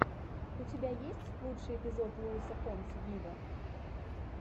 у тебя есть лучший эпизод луиса фонси виво